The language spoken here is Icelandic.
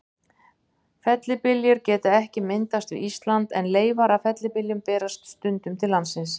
Fellibyljir geta ekki myndast við Ísland, en leifar af fellibyljum berast stundum til landsins.